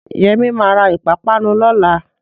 Yẹmí ma ra ìpápánu lọ́la